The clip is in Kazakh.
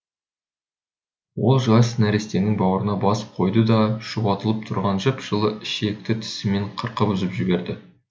ол жас нәрестенің бауырына бас қойды да шұбатылып тұрған жып жылы ішекті тісімен қырқып үзіп жіберді